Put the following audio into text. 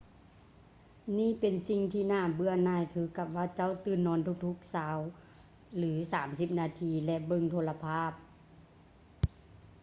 ນີ້ເປັນສິ່ງທີ່ໜ້າເບື່ອຫນ່າຍຄືກັບວ່າເຈົ້າຕື່ນນອນທຸກໆຊາວ ຫຼື ສາມສິບນາທີ ແລະ ເບິ່ງໂທລະພາບ